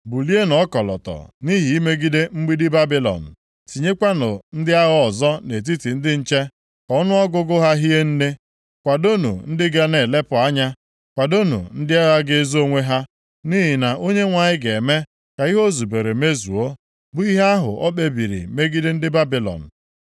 Bulienụ ọkọlọtọ nʼihi imegide mgbidi Babilọn. Tinyekwanụ ndị agha ọzọ nʼetiti ndị nche, ka ọnụọgụgụ ha hie nne Kwadoonụ ndị ga na-elepụ anya. Kwadoonụ ndị agha ga-ezo onwe ha, nʼihi na Onyenwe anyị ga-eme ka ihe o zubere mezuo, bụ ihe ahụ o kpebiri megide ndị Babilọn.